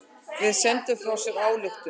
Þeir sendu frá sér ályktun.